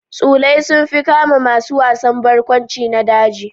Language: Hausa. Tsulai sun fi kama masu wasan barkwanci na daji.